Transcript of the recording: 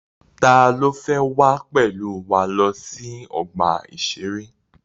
Ta ló fẹ́ wá pẹ̀lú wa lọ sí ọgbà-ìṣeré?